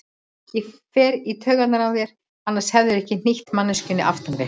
Ég fer í taugarnar á þér, annars hefðirðu ekki hnýtt manneskjunni aftan við.